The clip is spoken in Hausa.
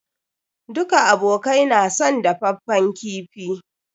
Duka abokai na son dafaffen kifi.